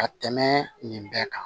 Ka tɛmɛ nin bɛɛ kan